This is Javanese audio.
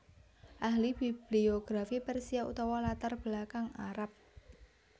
Ahli bibliografi Persia utawa latar belakang Arab